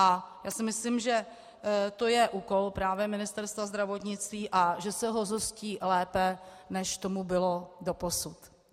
A já si myslím, že to je úkol právě Ministerstva zdravotnictví a že se ho zhostí lépe, než tomu bylo doposud.